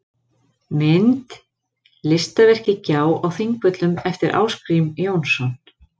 Mynd: Listaverkið Gjá á Þingvöllum eftir Ásgrím Jónsson.